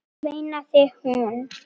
veinaði hún.